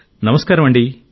నమస్కారమండీ